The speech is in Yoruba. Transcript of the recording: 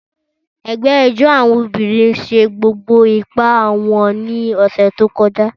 Ẹgbẹ́ ijó àwọn obìnrin ṣe gbogbo ipá wọn ní ọ̀sẹ̀ tó kọjá.